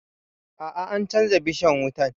A'a, an canja bishan wutan